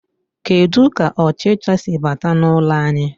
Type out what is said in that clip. Kedu ka ọchịcha si bata n'ụlọ anyị.